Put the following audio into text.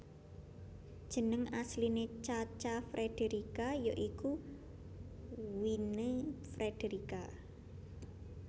Jeneng asline Cha Cha Frederica ya iku Wynne Frederica